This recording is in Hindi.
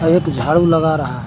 एक झाड़ू लगा रहा है।